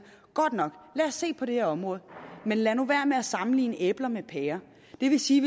godt nok lad os se på det her område men lad nu være med at sammenligne æbler med pærer det vil sige